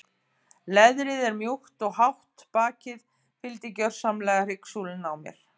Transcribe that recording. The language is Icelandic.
Leðrið var mjúkt og hátt bakið fylgdi gjörsamlega hryggsúlunni á mér.